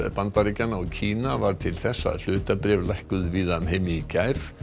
Bandaríkjanna og Kína varð til þess að hlutabréf lækkuðu víða um heim í gær